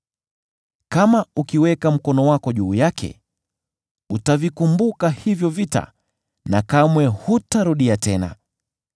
Kama ukiweka mkono wako juu yake, utavikumbuka hivyo vita na kamwe hutarudia tena!